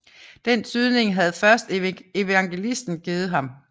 Den tydning havde først evangelisten givet ham